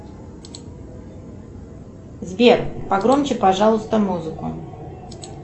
сбер погромче пожалуйста музыку